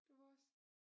Det var også